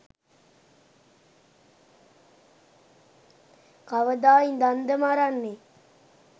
කවදා ඉඳන්ද මරන්නේ